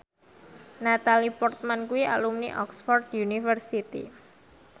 Natalie Portman kuwi alumni Oxford university